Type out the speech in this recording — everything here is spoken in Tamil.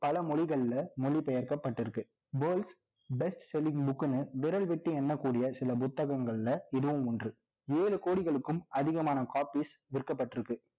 பல மொழிகள்ல மொழி பெயர்க்கப்பட்டு இருக்கு Worlds best selling book ன்னு விரல் விட்டு எண்ணக்கூடிய சில புத்தகங்கள்ல இதுவும் ஒன்று ஏழு கோடிகளுக்கும் அதிகமான copies விற்கப்பட்டிருக்கு